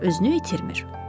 Ancaq özünü itirmir.